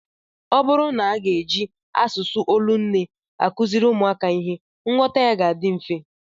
Ọ bụrụ na a ga-eji asụsụ olu nne akụziri ụmụaka ihe, nghọta ya ga-adị mfe